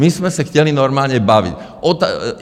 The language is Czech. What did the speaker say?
My jsme se chtěli normálně bavit.